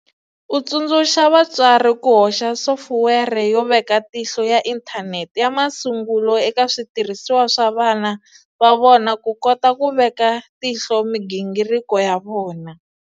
U tsundzuxa vatswari ku hoxa sofuwere yo veka tihlo ya inthanete ya masungulo eka switirhisiwa swa vana va vona ku kota ku veka tihlo migingiriko ya vona.